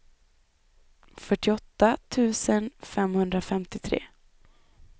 fyrtioåtta tusen femhundrafemtiotre